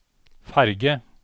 ferge